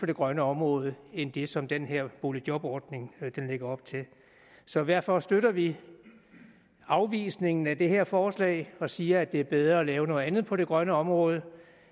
det grønne område end det som den her boligjobordning lægger op til så derfor støtter vi afvisningen af det her forslag og siger at det er bedre at lave noget andet på det grønne område